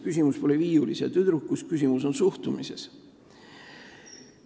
Küsimus pole selles viiuliga tüdrukus, küsimus on suhtumises.